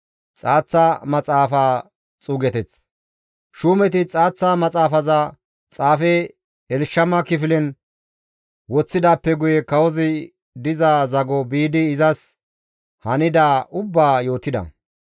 Shuumeti xaaththa maxaafaza xaafe Elshama kifilen woththidaappe guye kawozi diza zago biidi izas hanidaa ubbaa yootida.